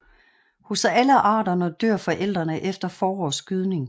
Hos alle arterne dør forældrene efter forårets gydning